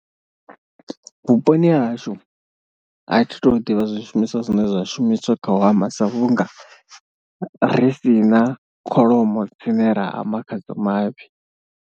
Vhuponi ha hashu a thi tu ḓivha zwishumiswa zwine zwa shumiswa kha u hama sa vhunga ri si na kholomo dzine ra hama khadzo mafhi.